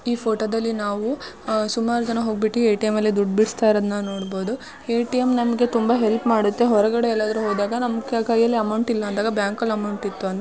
ಈ ಫೋಟೊ ದಲ್ಲಿ ನಾವು ಅ- ಸುಮಾರ್ ಜನ ಹೋಗ್ಬಿಟ್ಟು ಎ.ಟಿ.ಎಂ. ಅಲ್ಲಿ ದುಡ್ ಬಿಡಿಸ್ತಾ ಇರುವುದನ್ನು ನೋಡಬಹುದು. ಎ.ಟಿ.ಎಂ. ನಮಗೆ ತುಂಬಾ ಹೆಲ್ಪ್ ಮಾಡುತ್ತೆ. ಹೊರಗಡೆ ಎಲ್ಲದ್ರು ಹೋದಾಗ ನಮ್ ಕೈಯಲ್ಲಿ ಅಮೌಂಟ್ ಇಲ್ಲ ಅಂದಾಗ ಬ್ಯಾಂಕ ಲ್ಲಿ ಅಮೌಂಟ್ ಇತ್ತು ಅಂದ್ರೆ --